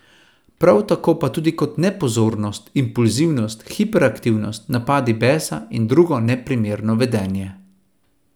Prav tako pa tudi kot nepozornost, impulzivnost, hiperaktivnost, napadi besa in drugo neprimerno vedenje.